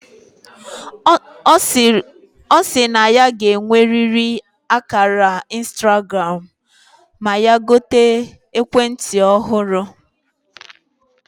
Osi na ya ga eweriri akara Instagram ma ya gote ekwe nti ohuru